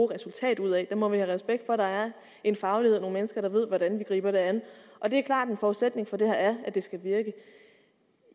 resultat ud af vi må have respekt for at der er en faglighed og nogle mennesker der ved hvordan det skal gribes an det er klart at en forudsætning for det er at det skal virke